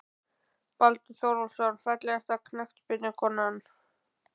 Baldur Þórólfsson Fallegasta knattspyrnukonan?